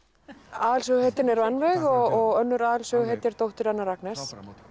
aðalsöguhetjan er Rannveig og önnur aðalsöguhetjan er dóttir hennar Agnes